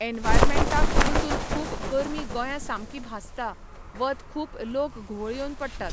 एनवायरमेंटाक पसून खूब गरमीं गोंया सामकी भाजता, वत खूब लोक घुवळ येवन पडटात.